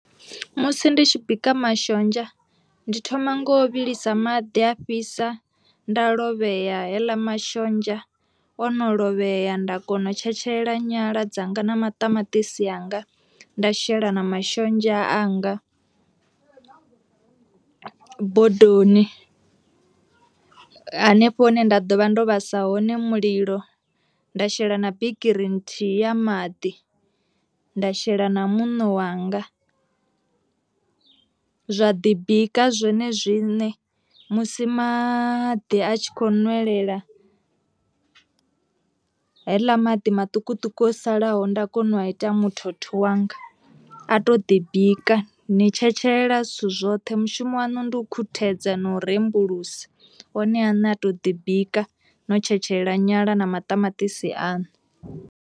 Musi ndi tshi bika mashonzha ndi thoma ngo vhilisa maḓi a fhisa nda lovhea heḽa mashonzha ono lovhea nda kona u tshetshelela nyala dzanga na maṱamaṱisi anga, nda shela na mashonzha anga bodoni hanefho hune nda ḓo vha ndo vhasa hone mulilo nda shela na bikiri nthihi ya maḓi nda shela na muṋo wanga, zwa ḓi bika zwone zwine musi maḓi a tshi kho nwelela haeḽa maḓi maṱukuṱuku o salaho nda kona u a ita muthotho wanga, a to ḓi bika ni tshetshelela zwithu zwoṱhe mushumo wanu ndi u khuthedza no rembulusa one aṋe a to ḓi bika no tshetshelela nyala na maṱamaṱisi aṋu.